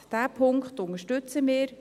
: Diesen Punkt unterstützen wir.